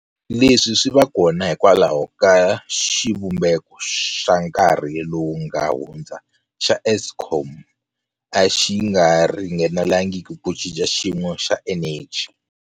Leswi swi va kona hikwalaho ka leswi xivumbeko xa nkarhi lowu nga hundza xa Eskom a xi nga ringanelangi ku cinca xiyimo xa eneji.